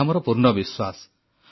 ଏହା ମୋର ପୂର୍ଣ୍ଣ ବିଶ୍ୱାସ